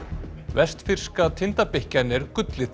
vestfirska tindabikkjan er gullið